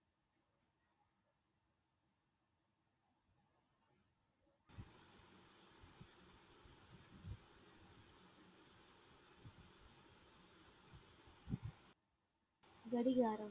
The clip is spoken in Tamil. கடிகாரம்.